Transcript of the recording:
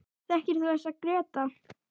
Þekkir þú þessa, Gréta?